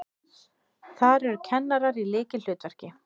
Þar eru kennarar í lykilhlutverki.